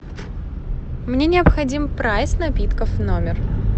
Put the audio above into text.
мне необходим прайс напитков в номер